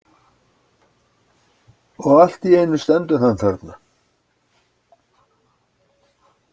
Og allt í einu stendur hann þarna.